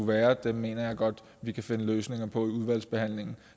være mener jeg godt vi kan finde løsninger på i udvalgsbehandlingen